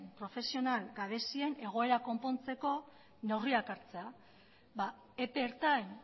profesional gabezien egoera konpontzeko neurriak hartzea epe ertain